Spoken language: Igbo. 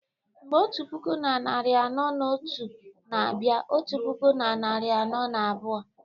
mgbe otu puku na narị anọ na otu na-abịa otu puku na narị anọ na abụọ